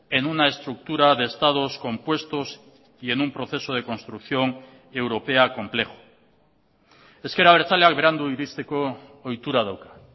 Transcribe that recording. en una estructura de estados compuestos y en un proceso de construcción europea complejo ezker abertzaleak berandu iristeko ohitura dauka